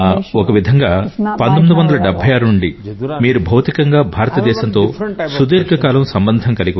ఒక విధంగా 1976 నుండి మీరు భౌతికంగా భారతదేశంతో సుదీర్ఘకాలం సంబంధం కలిగి ఉన్నారు